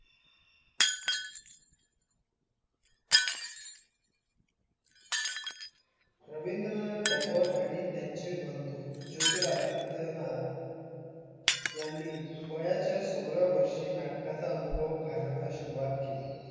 रविंद्रनाथ टागोर आणि त्यांचे बंधु ज्योतीराजीत्य नाथ यांनी वयाच्या सोळाव्या वर्षी नाटकाचा अनुभव घालवण्यास सुरवात केली